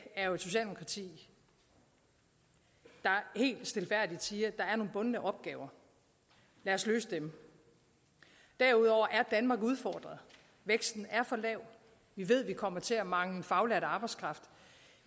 er jo et socialdemokrati der helt stilfærdigt siger at nogle bundne opgaver lad os løse dem derudover er danmark udfordret væksten er for lav vi ved vi kommer til at mangle faglært arbejdskraft